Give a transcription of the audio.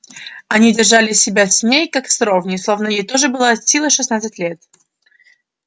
они держали себя с ней как с ровней словно ей тоже было от силы шестнадцать лет